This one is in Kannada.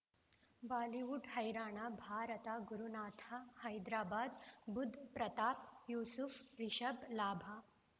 ಬಾಲಿವುಡ್ ಹೈರಾಣ ಭಾರತ ಗುರುನಾಥ ಹೈದರಾಬಾದ್ ಬುಧ್ ಪ್ರತಾಪ್ ಯೂಸುಫ್ ರಿಷಬ್ ಲಾಭ